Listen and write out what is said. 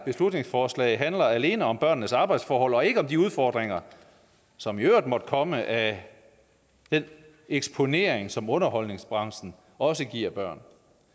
beslutningsforslag handler alene om børnenes arbejdsforhold og ikke om de udfordringer som i øvrigt måtte komme af den eksponering som underholdningsbranchen også giver børn